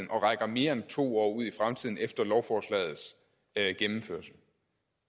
rækker mere end to år ud i fremtiden efter lovforslagets gennemførelse